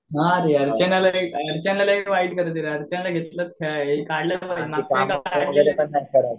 नाही रे अर्चनाला अर्चना